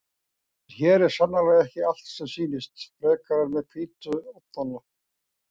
En hér er sannarlega ekki allt sem sýnist, frekar en með hvítu ofnana.